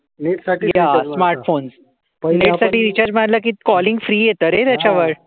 हा smart phone साठी net साठी रिचार्ज मारला की कॉलिंग फ्री येत रे त्याच्या वर